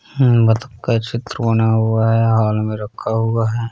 हम्म मधु का चित्र बना हुआ है हॉल में रखा हुआ है।